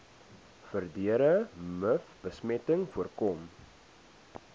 verdere mivbesmetting voorkom